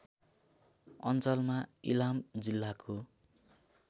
अञ्चलमा इलाम जिल्लाको